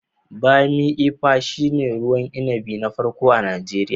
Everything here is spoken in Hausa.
Bammi Ifa shine ruwan inabi na farko a Najeriya.